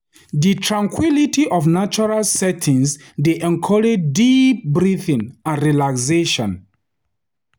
Di tranquility of natural settings dey encourage deep breathing and relaxation.